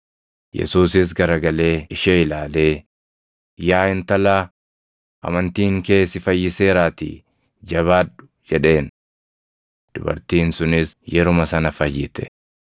Yesuusis garagalee ishee ilaalee, “Yaa intalaa, amantiin kee si fayyiseeraatii jabaadhu!” jedheen. Dubartiin sunis yeruma sana fayyite.